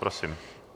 Prosím.